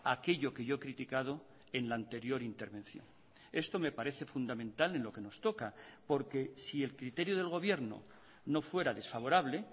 aquello que yo he criticado en la anterior intervención esto me parece fundamental en lo que nos toca porque si el criterio del gobierno no fuera desfavorable